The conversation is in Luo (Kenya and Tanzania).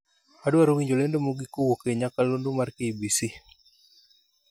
Adwaro winjo lendo mogik kowuok e nyakalondo mar k.b.c